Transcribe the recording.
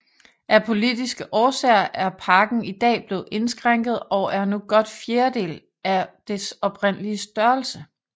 Af politiske årsager er parken i dag blevet indskrænket og er nu godt fjerdedel af dets oprindelige størrelse